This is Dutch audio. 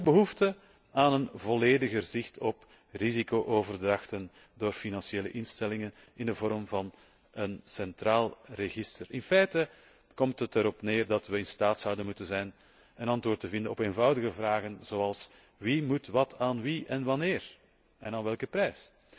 Er is ook behoefte aan een vollediger zicht op risico overdrachten door financiële instellingen in de vorm van een centraal register. In feite komt het erop neer dat we in staat zouden moeten zijn een antwoord te vinden op eenvoudige vragen zoals 'wie moet wat aan wie en wanneer en voor welke prijs'?